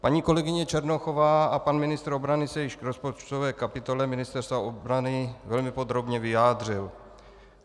Paní kolegyně Černochová a pan ministr obrany se již k rozpočtové kapitole Ministerstva obrany velmi podrobně vyjádřili.